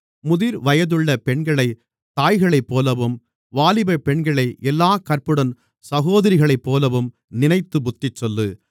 முதிர்வயதுள்ள பெண்களைத் தாய்களைப்போலவும் வாலிபப்பெண்களை எல்லாக் கற்புடன் சகோதரிகளைப்போலவும் நினைத்து புத்திசொல்லு